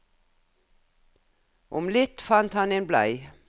Om litt fant han en blei.